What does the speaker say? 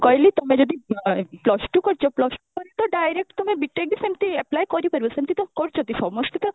କହିଲି ତମେ ଯଦି ଆ ତମେ ଯଦି plus two କରିଛ plus two ପରେ ତ direct ତମେ B.TECH ତ ସେମିତି apply କରିପାରିବ ସେମିତି ତ କରୁଛନ୍ତି ସମସ୍ତେ ତ